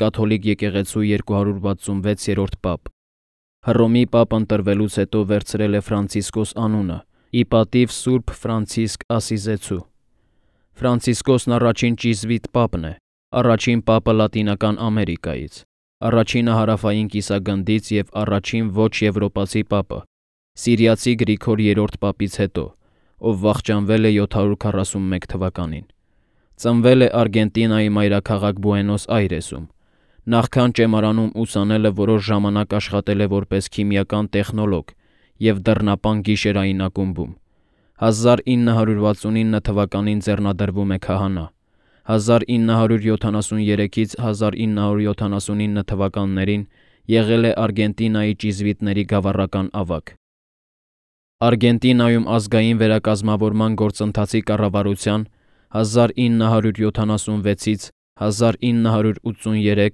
Կաթոլիկ եկեղեցու 266-րդ պապ։ Հռոմի պապ ընտրվելուց հետո վերցրել է Ֆրանցիսկոս անունը՝ ի պատիվ սուրբ Ֆրանցիսկ Ասսիզեցու։ առաջին ճիզվիտ պապն է, առաջին պապը՝ Լատինական Ամերիկայից, առաջինը՝ Հարավային կիսագնդից և առաջին ոչ եվրոպացի պապը՝ սիրիացի Գրիգոր III պապից հետո, ով վախճանվել է 741 թվականին։ Ծնվել է Արգենտինայի մայրաքաղաք Բուենոս Այրեսում։ Նախքան ճեմարանում ուսանելը որոշ ժամանակ աշխատել է որպես քիմիական տեխնոլոգ և դռնապան՝ գիշերային ակումբում 1969 թվականին ձեռնադրվում է քահանա։ 1973-1979 թվականներին եղել է Արգենտինայի ճիզվիտների գավառական ավագ։ Արգենտինայում Ազգային վերակազմավորման գործընթացի կառավարության (1976-1983)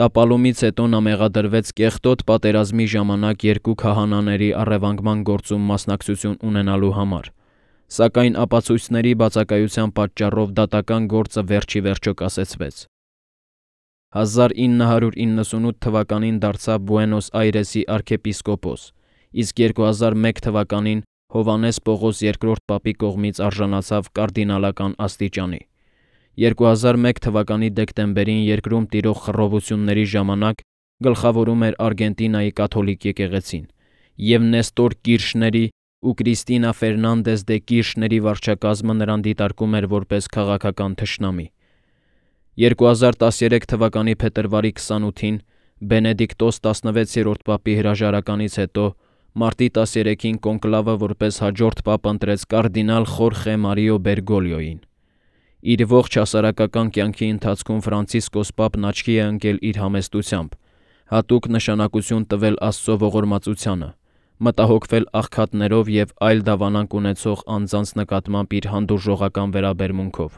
տապալումից հետո նա մեղադրվեց Կեղտոտ պատերազմի ժամանակ երկու քահանաների առևանգման գործում մասնակցություն ունենալու մեջ, սակայն ապացույցների բացակայության պատճառով դատական գործը վերջ ի վերջո կասեցվեց։ 1998 թվականին դարձավ Բուենոս Այրեսի արքեպիսկոպոս, իսկ 2001 թվականին Հովհաննես Պողոս II պապի կողմից արժանացավ կարդինալական աստիճանի։ 2001 թվականի դեկտեմբերին երկրում տիրող խռովությունների ժամանակ գլխավորում էր Արգենտինայի կաթոլիկ եկեղեցին, և Նեստոր Կիրշների ու Կրիստինա Ֆերնանդես դե Կիրշների վարչակարգը նրան դիտարկում էր որպես քաղաքական թշնամի։ 2013 թվականի փետրվարի 28-ին Բենեդիկտոս XVI պապի հրաժարականից հետո մարտի 13-ին կոնկլավը որպես հաջորդ պապ ընտրեց կարդինալ Խորխե Մարիո Բերգոլիոյին։ Իր ողջ հասարակական կյանքի ընթացքում Ֆրանցիսկոս պապն աչքի է ընկել իր համեստությամբ, հատուկ նշանակություն տվել Աստծո ողորմածությանը, մտահոգվել աղքատներով և այլ դավանանք ունեցող անձանց նկատմամբ իր հանդուրժողական վերաբերմունքով։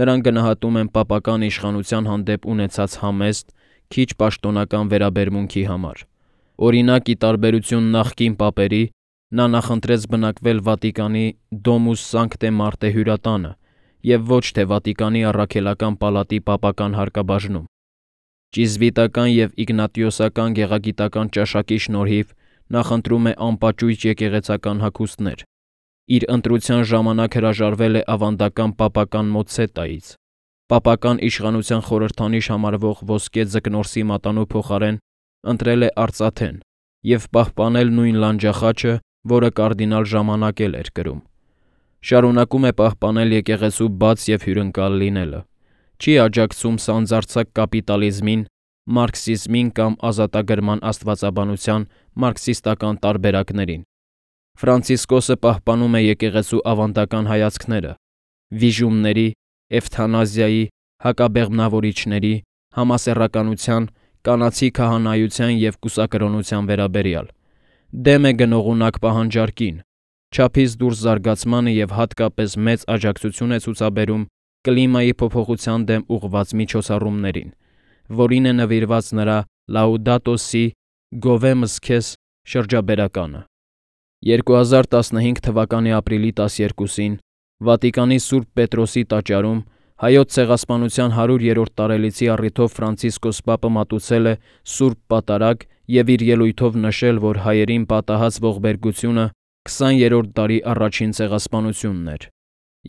Նրան գնահատում են պապական իշխանության հանդեպ ունեցած համեստ, քիչ պաշտոնական վերաբերմունքի համար։ Օրինակ՝ ի տարբերություն նախկին պապերի՝ նա նախընտրեց բնակվել Վատիկանի Domus Sanctae Marthae հյուրատանը և ոչ թե Վատիկանի առաքելական պալատի պապական հարկաբաժնում։ Ճիզվիտական և իգնատիոսական գեղագիտական ճաշակի շնորհիվ, նախընտրում է անպաճույճ եկեղեցական հագուստներ, իր ընտրության ժամանակ հրաժարվել է ավանդական պապական մոցցետայից, պապական իշխանության խորհրդանիշ համարվող ոսկե Ձկնորսի մատանու փոխարեն ընտրել է արծաթեն և պահպանել նույն լանջախաչը, որը կարդինալ ժամանակ էր կրում։ Շարունակում է պահպանել եկեղեցու բաց և հյուրընկալ լինելը։ Չի աջակցում սանձարձակ կապիտալիզմին, մարքսիզմին կամ ազատագրման աստվածաբանության մարքսիստական տարբերակներին։ Ֆրանցիսկոսը պահպանում է եկեղեցու ավանդական հայացքները վիժումների, էվթանազիայի, հակաբեղմնավորիչների, համասեռականության, կանացի քահանայության և կուսակրոնության վերաբերյալ։ Դեմ է գնողունակ պահանջարկին, չափից դուրս զարգացմանը և հատկապես մեծ աջակցություն է ցուցաբերում կլիմայի փոփոխության դեմ ուղղված միջոցառումներին, որին է նվիրված նրա Laudato si’ (Գովեմ զՔեզ) շրջաբերականը 2015 թվականի ապրիլի 12-ին Վատիկանի Սուրբ Պետրոսի տաճարում Հայոց Ցեղասպանության 100-րդ տարելիցի առիթով Ֆրանցիսկոս պապը մատուցել է Սուրբ Պատարագ և իր ելույթում նշել, որ հայերին պատահած ողբերգությունը 20-րդ դարի առաջին ցեղասպանությունն էր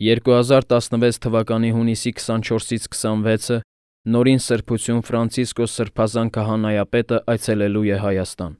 2016 թվականի հունիսի 24-26-ը Նորին Սրբություն Սրբազան Քահանայապետը այցելել է Հայաստան